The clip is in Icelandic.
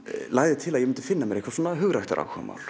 lagði til að ég fyndi mér eitthvað svona